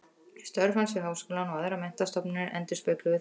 Störf hans við Háskólann og aðrar menntastofnanir endurspegluðu það viðhorf.